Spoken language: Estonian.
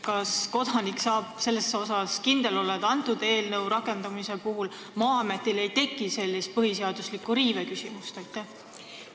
Kas kodanik saab kindel olla, et selle eelnõu seadusena rakendumise puhul ei teki Maa-ametil sellise põhiseadusliku riive küsimust?